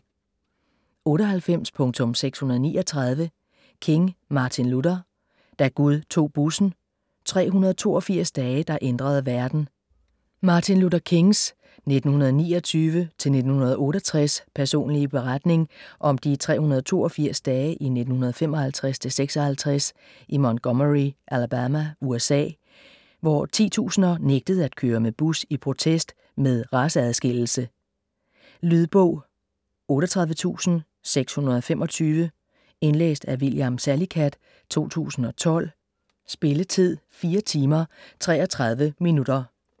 98.639 King, Martin Luther: Da Gud tog bussen: 382 dage der ændrede verden Martin Luther Kings (1929-1968) personlige beretning om de 382 dage i 1955-56 i Montgomery, Alabama, USA, hvor titusinder nægtede at køre med bus i protest med raceadskillelse. Lydbog 38625 Indlæst af William Salicath, 2012. Spilletid: 4 timer, 33 minutter.